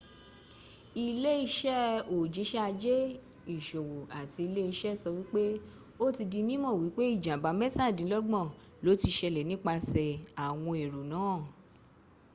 ilé-ìṣe òjisẹ ajé ìṣòwò àti ilé ìṣe sọ wípé o ti di mímọ wípé ìjàmbá mẹ́tàdínlógbọn lo ti ṣẹlẹ̀ nípasẹ̀ àwọn èrò náà